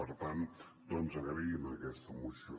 per tant agraïm aquesta moció